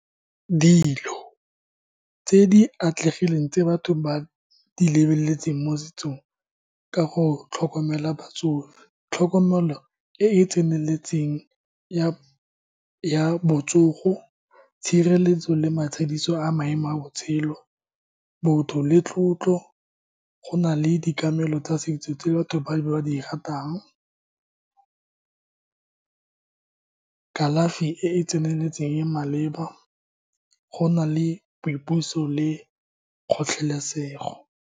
Dilo tse di atlegileng tse batho ba di lebeletseng mo setsong ka go tlhokomela batsofe, tlhokomelo e e tseneletseng ya botsogo, tshireletso le matshediso a maemo a botshelo, botho le tlotlo. Go na le tsa setso tse batho ba di ratang ka kalafi e e tseneletseng e e maleba. Go na le boipuso le kgotlhelesego.